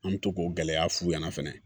An bɛ to k'o gɛlɛya f'u ɲɛna fɛnɛ